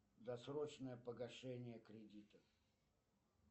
досрочное погашение кредита